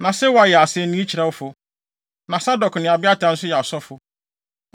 Na Sewa yɛ asennii kyerɛwfo. Na Sadok ne Abiatar nso yɛ asɔfo.